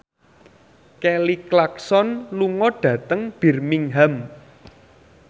Kelly Clarkson lunga dhateng Birmingham